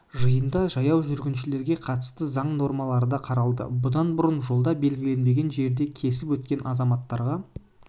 жиында жаяу жүргіншілерге қатысты заң нормалары да қаралды бұдан бұрын жолды белгіленбеген жерден кесіп өткен азаматтарға